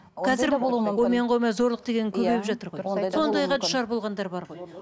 сондайға душар болғандар бар ғой